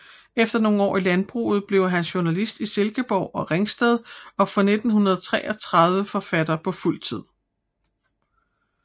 Efter nogle år i landbruget blev han journalist i Silkeborg og Ringsted og fra 1933 forfatter på fuld tid